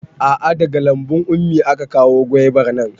A'a daga lambun ummi aka kawo gwaibar nan